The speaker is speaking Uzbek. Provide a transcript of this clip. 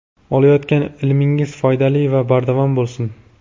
Olayotgan ilmingiz foydali va bardavom bo‘lsin.